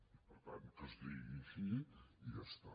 i per tant que es digui així i ja està